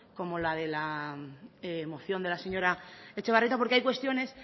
como la de la moción de la señora etxebarrieta porque hay cuestiones